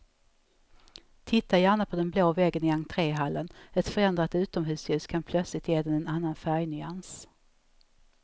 Titta gärna på den blå väggen i entréhallen, ett förändrat utomhusljus kan plötsligt ge den en annan färgnyans.